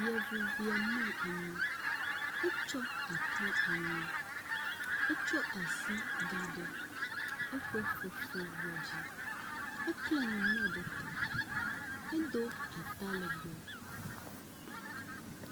Yevuvia mlɔ anyi, etsyɔ akɔ anyi, etsɔ asi da ɖe eƒe fefe ŋuɔ dzi, ekle nume ɖe te, edo atalegbe.